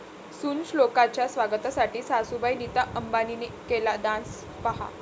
सून श्लोकाच्या स्वागतासाठी सासूबाई नीता अंबानींनी केला डान्स, पाहा